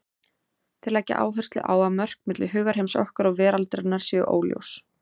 Þeir leggja áherslu á að mörk milli hugarheims okkar og veraldarinnar séu óljós.